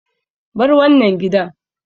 Bar wannan gidan!